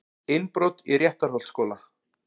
Innbrot í Réttarholtsskóla